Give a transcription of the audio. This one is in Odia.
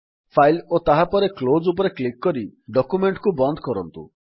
ଫାଇଲ୍ ଓ ତାହାପରେ କ୍ଲୋଜ୍ ଉପରେ କ୍ଲିକ୍ କରି ଡକ୍ୟୁମେଣ୍ଟ୍ କୁ ବନ୍ଦ କରନ୍ତୁ